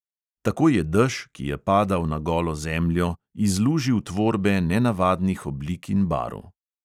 Tako je dež, ki je padal na golo zemljo, izlužil tvorbe nenavadnih oblik in barv.